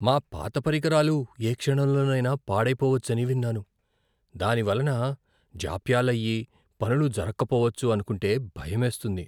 మా పాత పరికరాలు ఏ క్షణంలోనైనా పాడైపోవచ్చని విన్నాను. దాని వలన జాప్యాలయ్యి, పనులు జరకపోవచ్చు అనుకుంటే భయమేస్తుంది.